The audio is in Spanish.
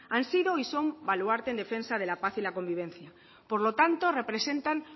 han sido y son baluarte en defensa de la paz y la convivencia por lo tanto representan